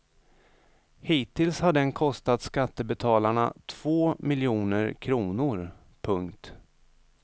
Hittills har den kostat skattebetalarna två miljoner kronor. punkt